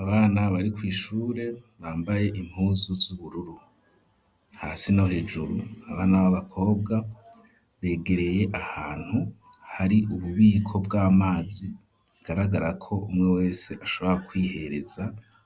Abana bari kw' ishure, bambaye impuzu z'ubururu, hasi no hejuru abana abakobwa begereye ahantu hari ububiko bw'amazi, bigaragara ko ,umwe wese ashobora kwihereza